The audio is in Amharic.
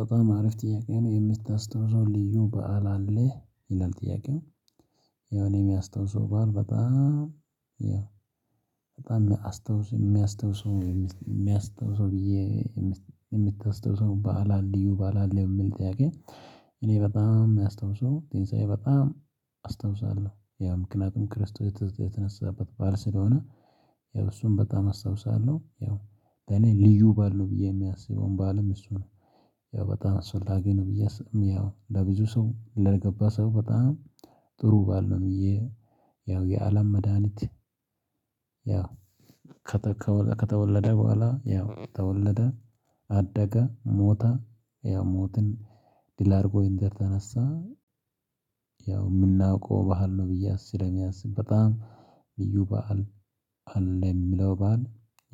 በጣም አሪፍ ጥያቄ ነው የምታስታውሰው ልዩ በዓል አለ? ይላል ጥያቄው የሆነ በአም በጣም የማስታውሰው የሚያስታውሰው ብዬ የምታስታውሰው በዓል አለ ወይ በዓል አለ ወይ የሚለው ጥያቄ እኔ በጣም የማስታውሰው ትንሣኤ በጣም አስታውሰዋለሁ አዎ ምክንያቱም ክርስቶስ የተነሳበት ባዓል ስለሆነ ያው እሱን በጣም አስታውሳለሁ ያው በኔ ልዩ ባዓል ነው ብዬ የማስበው ባዓልም እሱ ነው ያው በጣም አስፈላጊ ነው ብዬ አስብም ያው ለብዙ ሰው ለገባው ሰው በጣም ጥሩ ባዓል ነው ብዬ ነው ያው የአለም መድሃኒት ያው ከተወለደ በኋላ ያው ተወለደ አደገ ሞተ ያው ሞትን ድል አድርጎ እንደተነሳ ያው የምናውቀው ባዓል ነው ብዬ አስብ ስለማስብ በጣም ልዩ በዓል አለ የምለው በዓል